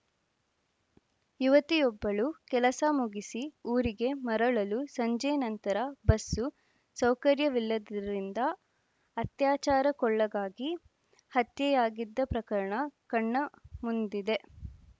ಯುವತಿಯೊಬ್ಬಳು ಕೆಲಸ ಮುಗಿಸಿ ಊರಿಗೆ ಮರಳಲು ಸಂಜೆ ನಂತರ ಬಸ್ಸು ಸೌಕರ್ಯವಿಲ್ಲದ್ದರಿಂದ ಅತ್ಯಾಚಾರಕ್ಕೊಳಗಾಗಿ ಹತ್ಯೆಯಾಗಿದ್ದ ಪ್ರಕರಣ ಕಣ್ಣ ಮುಂದಿದೆ